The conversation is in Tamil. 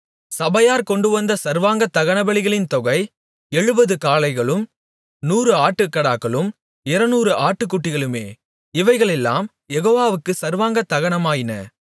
சபையார் கொண்டுவந்த சர்வாங்க தகனபலிகளின் தொகை எழுபது காளைகளும் நூறு ஆட்டுக்கடாக்களும் இருநூறு ஆட்டுக்குட்டிகளுமே இவைகளெல்லாம் யெகோவாவுக்கு சர்வாங்க தகனமாயின